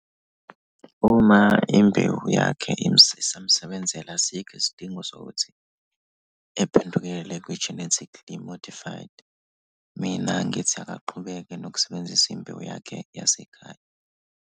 Uma imbewu yakhe imsiza imsebenzela, asikho isidingo sokuthi ephendukele kwi-genetically modified. Mina ngithi akaqhubeke nokusebenzisa imbewu yakhe yasekhaya.